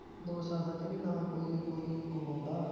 ਦੋ ਸਾਲਾਂ ਚ ਨਾਂ ਕੋਈ ਹੋਈ ਹੀ ਕੋਈ ਹੀ ਕਮਾਉਂਦਾ